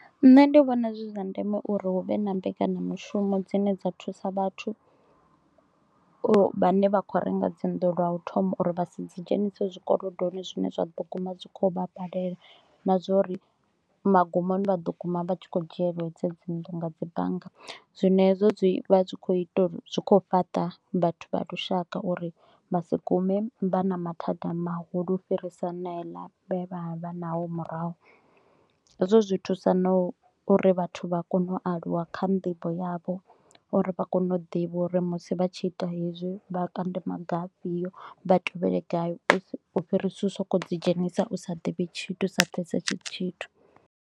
Nṋe ndi vhona zwi zwa ndeme uri hu vhe na mbekanya mushumo dzine dza thusa vhathu, u vhane vha kho u renga dzinnḓu lwa u thoma, uri vha si dzi dzhenisa zwikolodoni, zwine zwa ḓo guma zwi kho u vha balela. Na zwa uri magumoni vha ḓo guma vha tshi kho u dzhieliwa hedzo dzinnḓu nga dzi bannga. Zwino hezwo zwi vha zwi kho u ita uri zwi kho u fhaṱa vhathu vha lushaka uri vha si gume vha na mathada mahulu u fhirisa haneala e vha vha vha naho murahu. Hezwo zwi thusa na uri vhathu vha kone u aluwa kha nḓivho yavho, uri vha kone u ḓivha uri musi vha tshi ita hezwi vha kande maga afhio, vha tevhele gai u fhirisa u sokou dzi dzhenisa u sa ḓivhi tshithu, u sa pfesesi tshithu